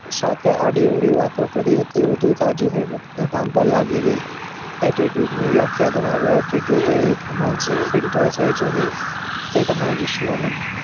સાથે આડી અવળી વાતો કરી હતી વધુ તાજી થઇ રોજના કામ પર લાગી ગઈ attitude ની વ્યાખ્યા તમારો attitude એક માનસિક filter છે જે તમારી વિશ્વના